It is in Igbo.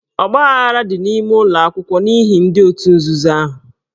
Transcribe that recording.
Ọgbaaghara dị n'ime ụlọ akwụkwọ n'ihi ndị òtù nzuzo ahụ.